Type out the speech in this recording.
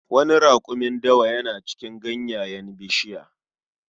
Wani rakumin dawa yana cin ganyayyakin bishiya